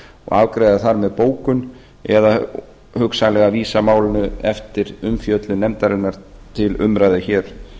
afgreiða það með bókun eða hugsanlega vísa málinu eftir umfjöllun nefndarinnar til umræðu hér